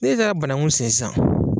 N'e taara banakun sen sisan